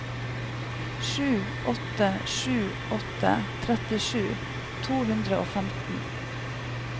sju åtte sju åtte trettisju to hundre og femten